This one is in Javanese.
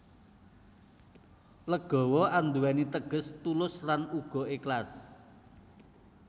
Legawa andhuweni teges tulus lan uga eklas